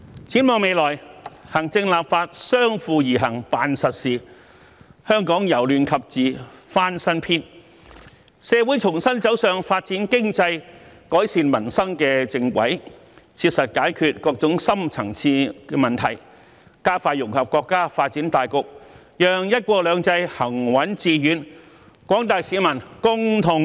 展望未來，行政立法相輔而行辦實事，香港由亂及治翻新篇，社會重新走上發展經濟、改善民生的正軌，切實解決各種深層次問題，加快融入國家發展大局，讓"一國兩制"行穩致遠，廣大市民共同受惠。